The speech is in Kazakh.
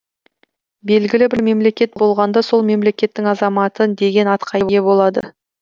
белгілі бір мемлекет болғанда сол мемлекеттің азаматы деген атқа ие болады